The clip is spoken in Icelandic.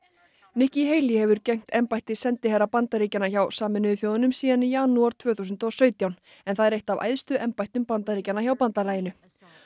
nikki Haley hefur gegnt embætti sendiherra Bandaríkjanna hjá Sameinuðu þjóðunum síðan í janúar tvö þúsund og sautján en það er eitt af æðstu embættum Bandaríkjanna hjá bandalaginu